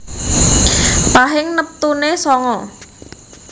Pahing neptune sanga